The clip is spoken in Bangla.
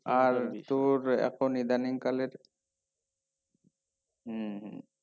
আর তোর এখন ইদানিং কালে হুম